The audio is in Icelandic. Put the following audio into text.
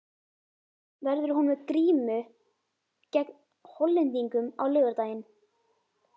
Verður hún með grímu gegn Hollendingum á laugardaginn?